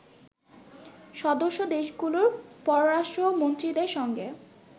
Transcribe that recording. সদস্যদেশগুলোর পররাষ্ট্রমন্ত্রীদের সঙ্গে